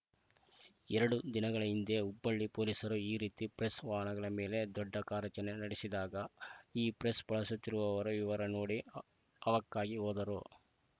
ಎರಡು ದಿನಗಳ ಹಿಂದೆ ಹುಬ್ಬಳ್ಳಿ ಪೊಲೀಸರು ಈ ರೀತಿ ಪ್ರೆಸ್‌ ವಾಹನಗಳ ಮೇಲೆ ದೊಡ್ಡ ಕಾರ್ಯಾಚರಣೆ ನಡೆಸಿದಾಗ ಈ ಪ್ರೆಸ್‌ ಬಳಸುತ್ತಿರುವವರ ವಿವರ ನೋಡಿ ಹ್ ಆವಕ್ಕಾಗಿ ಹೋದರು